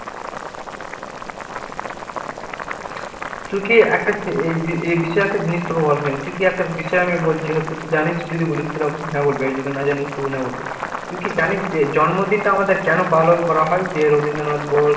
তুই কি একটা এই বিষয়ে একটা জিনিস তোকে বলা হয়নি। তুই কি একটা বিষয় আমি বলছি হয়তো তো তুই জানিস যদি বলিস তো অবশ্যই হ্যাঁ বলিস আর যদি না জানিস তবে না বলবি। তুই কি জানিস জন্ম দিন টা আমাদের কেন পালন করা হয় যে রবীন্দ্র নাথ বল